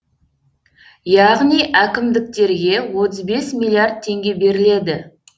яғни әкімдіктерге отыз бес миллиард теңге беріледі